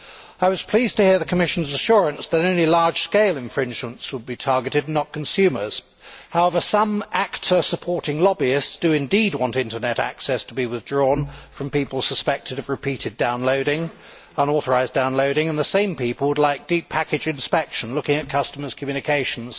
I was pleased to hear the Commission's assurance that any large scale infringements would be targeted, and not consumers. However, some actor supporting lobbyists do indeed want Internet access to be withdrawn from people suspected of repeated unauthorised downloading, and the same people would like deep packet inspection, looking at customers' communications.